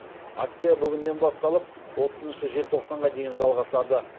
акция бүгіннен басталып отызыншы желтоқсанға дейін жалғасады